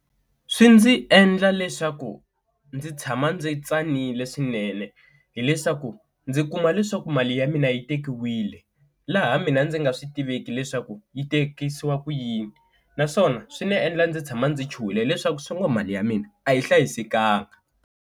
Swi ndzi endla leswaku ndzi tshama ndzi tsanile swinene hileswaku ndzi kuma leswaku mali ya mina yi tekiwile laha mina ndzi nga swi tiveki leswaku yi tekisiwa ku yini, naswona swi ni endla ndzi tshama ndzi chuhile leswaku swi nga mali ya mina a yi hlayisekanga.